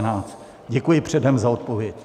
Děkuji předem za odpověď.